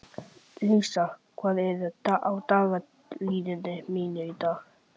Lísa, hvað er á dagatalinu mínu í dag?